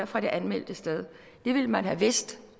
fra det anmeldte sted det ville man have vidst